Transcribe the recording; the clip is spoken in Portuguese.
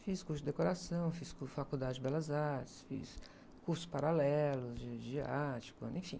Fiz curso de decoração, fiz, faculdade de belas artes, fiz curso paralelo de, de arte, quando, enfim.